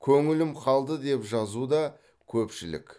көңілім қалды деп жазуда көпшілік